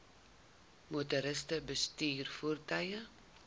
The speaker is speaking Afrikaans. motoriste bestuur voertuie